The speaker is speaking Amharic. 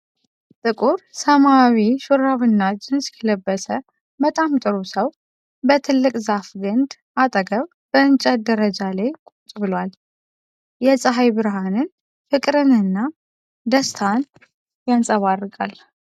ጥቁር ሰማያዊ ሹራብና ጂንስ የለበሰ በጣም ጥሩ ሰው በትልቅ ዛፍ ግንድ አጠገብ በእንጨት ደረጃ ላይ ቁጭ ብሏል። የፀሐይ ብርሃን ፍቅርንና ደስታን ያንፀባርቃል።